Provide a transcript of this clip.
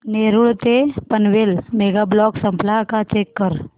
नेरूळ ते Panvel mega block संपला का चेक कर